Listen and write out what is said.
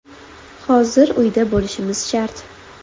Hozir uyda bo‘lishimiz shart.